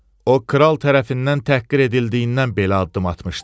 O kral tərəfindən təhqir edildiyindən belə addım atmışdı.